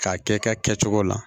K'a kɛ i ka kɛcogo la